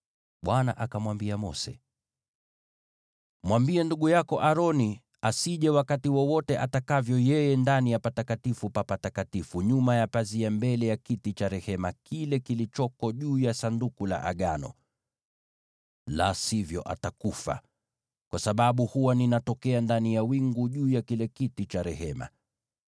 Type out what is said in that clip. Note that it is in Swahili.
Bwana akamwambia Mose: “Mwambie ndugu yako Aroni asije wakati wowote atakavyo yeye ndani ya Patakatifu pa Patakatifu, nyuma ya pazia pale mbele ya kiti cha rehema kile kilichoko juu ya Sanduku la Agano, la sivyo atakufa, kwa sababu huwa ninatokea ndani ya wingu juu ya kile kiti cha rehema.